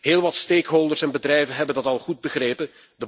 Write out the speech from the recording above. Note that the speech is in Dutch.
Heel wat stakeholders en bedrijven hebben dat al goed begrepen.